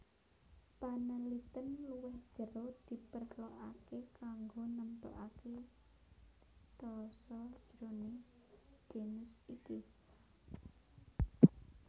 Panelitèn luwih jero diperlokaké kanggo nemtokaké taxa jroning genus iki